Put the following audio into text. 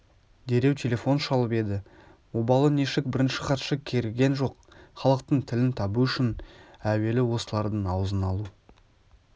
дереу телефон шалып еді обалы нешік бірінші хатшы кергіген жоқ халықтың тілін табу үшін әуелі осылардың аузын алу